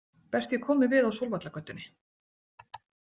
Best ég komi við á Sólvallagötunni.